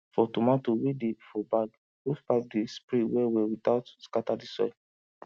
for tomato wey dey for bag hosepipe dey spray well well without scatter the soil